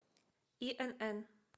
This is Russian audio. инн